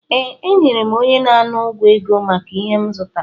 Ee, enyere m onye na-ana ụgwọ ego maka ihe m zụtara